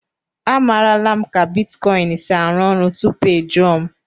Amarala m ka bitkọịn si arụ ọrụ tupu ị jụọ m.